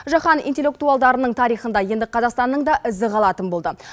жаһан интеллектуалдарының тарихында енді қазақстанның да ізі қалатын болды